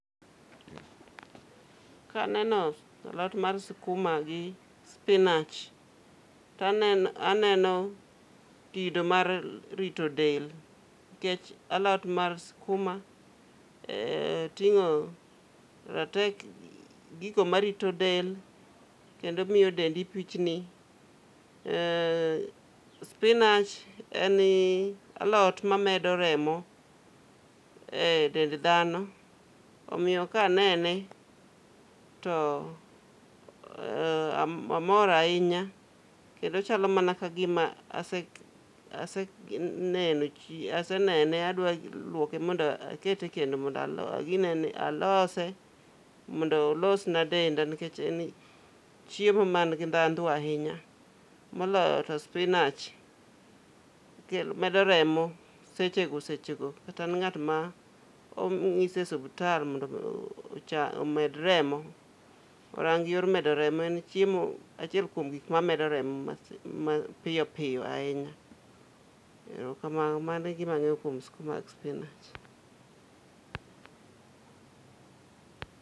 Ka aneno alot mar sikuma gi sipinach to aneno kido mar rito del nikech alot mar sikuma ting'o gigo marito del kendo miyo dendi pichni. Sipinach en alot mabedo remo e dend dhano omiyo kanene to amor ahinya kendo chalo mana kagima asenene adwa luoke mondo akete ekendo mondo a ginene mondo alose mond olos na denda nikech e chiemo man gi dhahdo ahinya. Moloyo to sipinach medo remo sechego sechego kata ng'at ma onyis e osiptal mondo ocham omed remo. Orang yor medo remo. En chiemo achiel kuom gik mamedoremo mapiyo piyo ahinya.